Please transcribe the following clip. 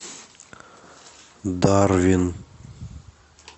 дарвин